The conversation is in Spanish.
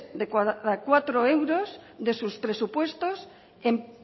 cada cuatro euros de sus presupuestos en